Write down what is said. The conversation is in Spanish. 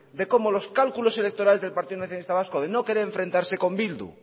de cómo los cálculos electorales del partido nacionalista vasco de no querer enfrentarse con bildu